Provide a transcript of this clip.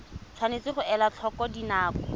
tshwanetse ga elwa tlhoko dinako